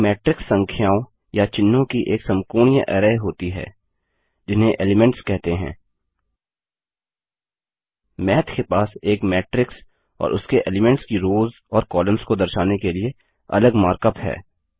माथ के पास एक मैट्रिक्स और उसके एलीमेंट्स की रोव्ज़ और कॉलम्स को दर्शाने के लिए अलग मार्क अप है